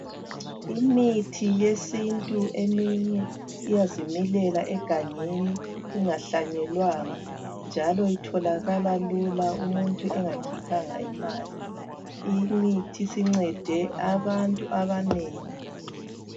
Imithi yesintu eminye iyazimilela egangeni ingahlanyelwanga njalo itholakala lula umuntu engakhiphanga imali, imithi sincede abantu abanengi.